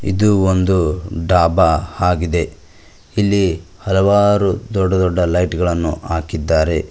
ಇದು ಒಂದು ಡಾಬಾ ಆಗಿದೆ ಇಲ್ಲಿ ಹಲವಾರು ದೊಡ್ಡ ದೊಡ್ಡ ಲೈಟು ಗಳನ್ನು ಹಾಕಿದ್ದಾರೆ.